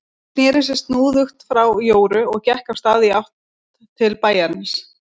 Hún sneri sér snúðugt frá Jóru og gekk af stað í átt til bæjarins.